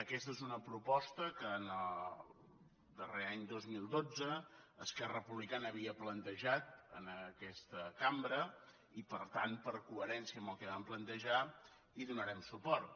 aquesta és una proposta que en el darrer any dos mil dotze esquerra republicana havia plantejat en aquesta cambra i per tant per coherència amb el que vam plantejar hi donarem suport